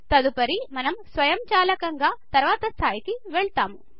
తదుపరి మనము స్వయంచాలకంగా తర్వాత స్థాయికి వెళ్ళుతాము